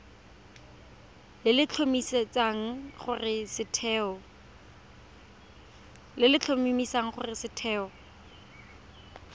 le le tlhomamisang gore setheo